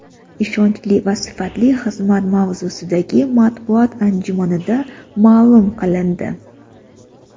ishonchli va sifatli xizmat mavzusidagi matbuot anjumanida ma’lum qilindi.